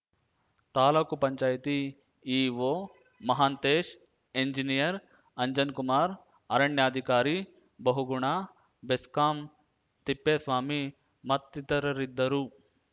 taluk panchayati EO Mahantesh engineer Anjankumar ಅರಣ್ಯಾಧಿಕಾರಿ ಬಹುಗುಣ ಬೆಸ್ಕಾಂ ತಿಪ್ಪೇಸ್ವಾಮಿ ಮತ್ತಿತರರಿದ್ದರು